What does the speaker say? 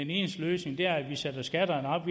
eneste løsning er at vi skal sætte skatterne op